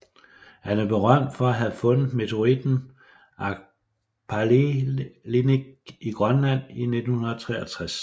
Han er berømt for at have fundet meteoritten Agpalilik i Grønland i 1963